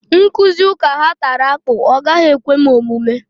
Nkụzi ụka ha tara akpụ, ọ gaghị ekwe m omume